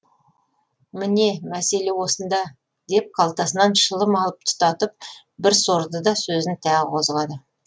міне мәселе осында деп қалтасынан шылым алып тұтатып бір сорды да сөзін тағы қозғады